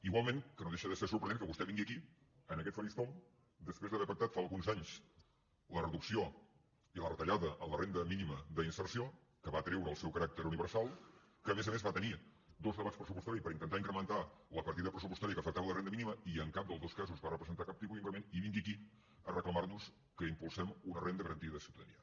igual que no deixa de ser sorprenent que vostè vingui aquí en aquest faristol després d’haver pactat fa uns anys la reducció i la retallada en la renda mínima d’inserció que va treure el seu caràcter universal que a més a més va tenir dos debats pressupostaris per intentar incrementar la partida pressupostària que afectava la renda mínima i en cap dels dos casos va representar cap tipus d’increment i vingui aquí a reclamar nos que impulsem una renda garantida de ciutadania